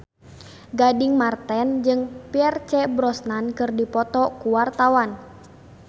Gading Marten jeung Pierce Brosnan keur dipoto ku wartawan